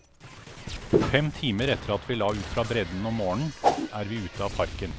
Fem timer etter at vi la ut fra bredden om morgenen, er vi ute av parken.